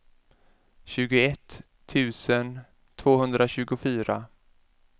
tjugoett tusen tvåhundratjugofyra